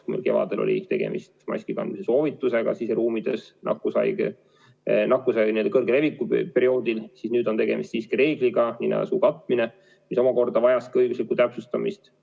Kui meil kevadel oli tegemist maskikandmise soovitusega siseruumides nakkushaiguse kõrge leviku perioodil, siis nüüd on tegemist siiski reegliga, nina ja suu katmine, mis omakorda vajas ka õiguslikku täpsustamist.